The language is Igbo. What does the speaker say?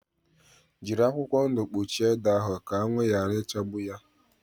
Jírí akwụkwọ ndụ kpuchie ede ahụ ka anwụ yara ichagbu yá